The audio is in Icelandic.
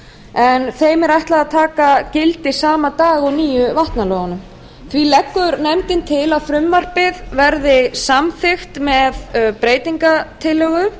en þeim lögum er ætlað að taka gildi sama dag og nýju vatnalögunum því leggur nefndin til að frumvarpið verði samþykkt með breytingartillögu